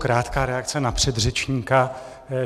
Krátká reakce na předřečníka.